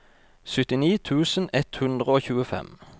syttini tusen ett hundre og tjuefem